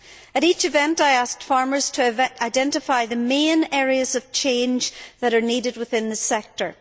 At each event, I asked farmers to identify the main areas of change that are needed within the sector.